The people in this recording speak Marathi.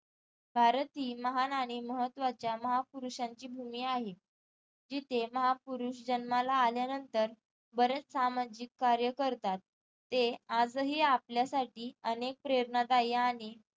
भारत ही महान आणि महत्वाच्या महापुरुषांची भूमी आहे जिथे महापुरुष जन्माला आल्यानंतरबरेच सामाजिक कार्य करतात ते आजही आपल्यासाठी अनेक प्रेरणादायी आणि